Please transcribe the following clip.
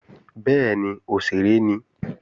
Bẹ́ẹ̀ni, òṣèré ni